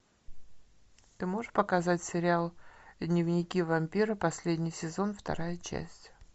ты можешь показать сериал дневники вампира последний сезон вторая часть